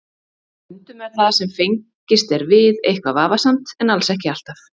Stundum er það sem fengist er við eitthvað vafasamt en alls ekki alltaf.